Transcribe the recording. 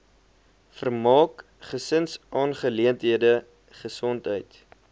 vermaak gesinsaangeleenthede gesondheid